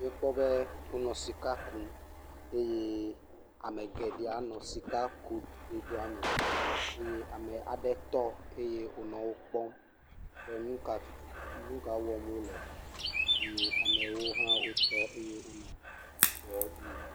Míekpɔ wonɔ sika kum. Eye ame geɖee anɔ sikakudo kudoa me eye ame aɖe tɔ eye wònɔ wokpɔm be nu ka tutu, nu ka wɔm wole. Eye amewo hã wotɔ eye wonɔ dɔɔ dzi yim.